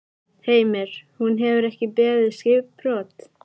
Heimir: Hún hefur ekki beðið skipbrot?